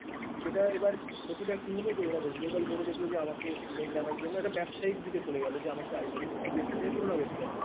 সেটা এবার ক্ষতিটা কি হলো যে ওরা West Bengal board দেখলো যে আমাকে student আনার জন্য একটা ব্যবসায়িক দিকে চলে গেলো যে আমাকে ICSC, CBSC সাথে তুলনা করতে হবে,